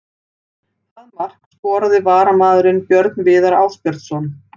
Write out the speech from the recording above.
Það mark skoraði varamaðurinn Björn Viðar Ásbjörnsson.